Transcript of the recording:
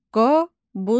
Qobustan.